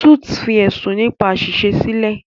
Suits fi ẹ̀sùn nípa àṣìṣe sílẹ̀.